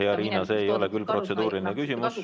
Hea Riina, see ei ole küll protseduuriline küsimus!